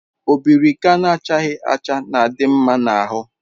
Obirika na-achaghi acha na-adi nma na ahu